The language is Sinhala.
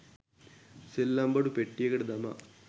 සෙල්ලම්බඩු පෙට්ටියකට දමා